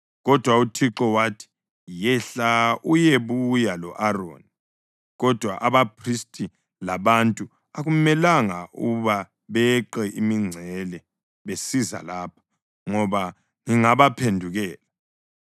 Kodwa uThixo wathi, “Yehla uyebuya lo-Aroni. Kodwa abaphristi labantu akumelanga ukuba beqe imingcele besiza lapho ngoba ngingabaphendukela.”